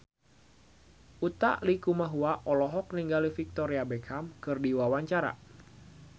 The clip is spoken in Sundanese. Utha Likumahua olohok ningali Victoria Beckham keur diwawancara